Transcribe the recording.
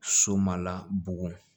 So ma la bugɔ